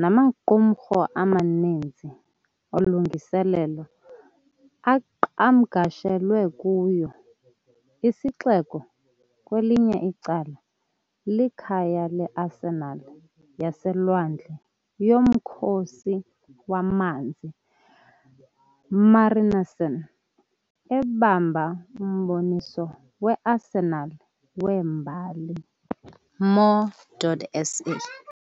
namaqumrhu amaninzi olungiselelo aqhamgashelwe kuyo. Isixeko, kwelinye icala, likhaya leArsenal yaseLwandle yoMkhosi waManzi, MARINARSEN, ebamba uMboniso weArsenal weMbali, Mo.SA.